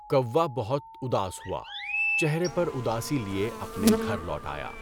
کوّا بہت اداس ہوا، چہرے پر اداسی لیے اپنے گھر لوٹ آیا۔